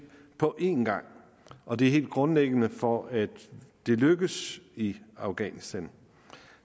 på en gang og det er helt grundlæggende for at det lykkes i afghanistan